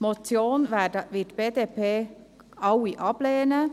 Die Motion wir von der ganzen BDP abgelehnt.